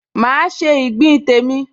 Máa se ìgbín tèmi